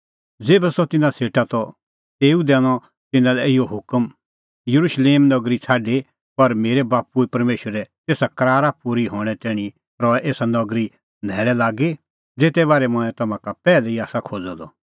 ज़ेभै सह तिन्नां सेटा त तेऊ दैनअ तिन्नां लै इहअ हुकम येरुशलेम नगरी निं छ़ाडी पर मेरै बाप्पू परमेशरे तेसा करारा पूरी हणैं तैणीं रहै एसा ई नगरी न्हैल़ै लागी ज़ेते बारै मंऐं तम्हां का पैहलै ई आसा खोज़अ द